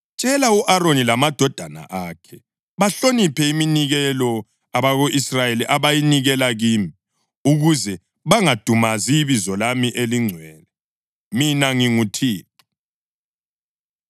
“Tshela u-Aroni lamadodana akhe bahloniphe iminikelo abako-Israyeli abayinikela kimi ukuze bangadumazi ibizo lami elingcwele. Mina nginguThixo.